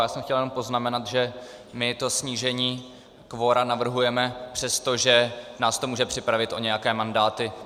Já jsem chtěl jenom poznamenat, že my to snížení kvora navrhujeme, přestože nás to může připravit o nějaké mandáty.